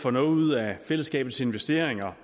får noget ud af fællesskabets investeringer